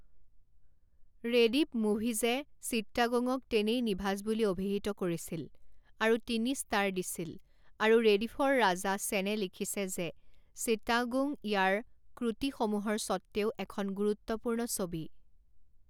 ৰেডিফ মুভিজে চিট্টাগোঙক তেনেই নিভাঁজ বুলি অভিহিত কৰিছিল আৰু তিনি ষ্টাৰ দিছিল আৰু ৰেডিফৰ ৰাজা সেনে লিখিছে যে চিট্টাগোং ইয়াৰ ক্ৰটিসমূহৰ সত্ত্বেও এখন গুৰুত্বপূৰ্ণ ছবি।